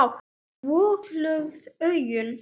Vonglöð augun.